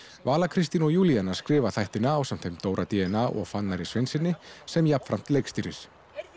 vala Kristín og Júlíana skrifa þættina ásamt þeim Dóra d n a og Fannari Sveinssyni sem jafnframt leikstýrir